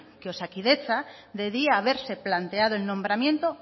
que osakidetza debía haberse planteado el nombramiento